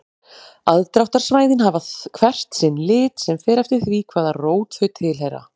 Aðdráttarsvæðin hafa hvert sinn lit sem fer eftir því hvaða rót þau tilheyra.